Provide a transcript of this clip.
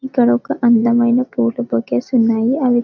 ఇక్కడ అందమైన పూలు బొకేస్ ఉన్నాయి అవి --